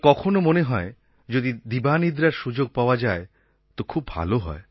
আবার কখনও মনে হয় যে দুপুরে যদি কিছু সময় শোওয়ার সুযোগ আসে তো খুব ভাল হয়